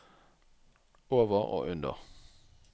over og under